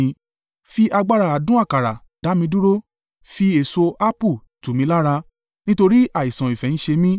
Fi agbára adùn àkàrà dá mi dúró. Fi èso ápù tù mi lára nítorí àìsàn ìfẹ́ ń ṣe mí.